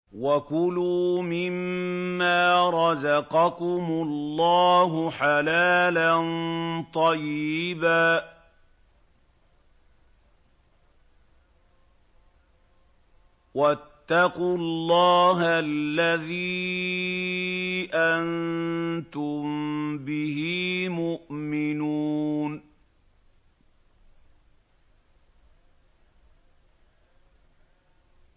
وَكُلُوا مِمَّا رَزَقَكُمُ اللَّهُ حَلَالًا طَيِّبًا ۚ وَاتَّقُوا اللَّهَ الَّذِي أَنتُم بِهِ مُؤْمِنُونَ